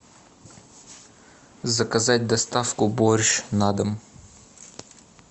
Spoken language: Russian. заказать доставку борщ на дом